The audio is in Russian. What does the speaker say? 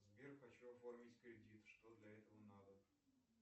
сбер хочу оформить кредит что для этого надо